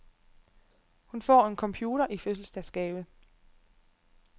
Hun får en computer i fødselsdagsgave.